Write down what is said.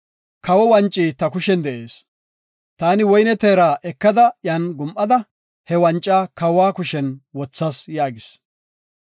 Kawo wanci ta kushen de7ees. Taani woyne teera ekada iyan gum7ada, he wanca kawa kushen wothas” yaagis.